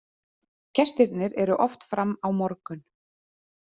Gestirnir eru oft fram á morgun.